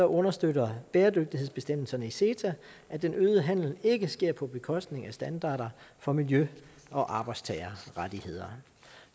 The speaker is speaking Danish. understøtter bæredygtighedsbestemmelserne i ceta at den øgede handel ikke sker på bekostning af standarder for miljø og arbejdstagerrettigheder